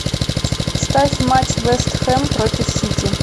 ставь матч вест хэм против сити